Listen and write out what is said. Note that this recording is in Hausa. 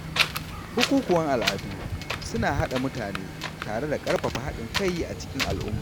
Bukukuwan al’adu suna haɗa mutane tare da karfafa haɗin kai a cikin al’umma.